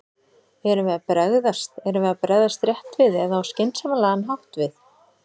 Erum við að bregðast, erum við að bregðast rétt við eða á skynsamlegan hátt við?